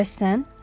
Bəs sən?